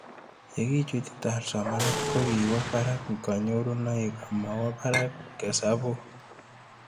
Ye kichutchi TaRL somanet ko kiwo parak kanyorunoik amawo parak hesabuk